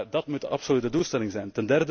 Dat moet de absolute doelstelling zijn.